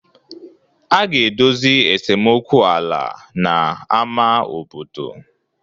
A ga-edozi esemokwu ala na ámá obodo.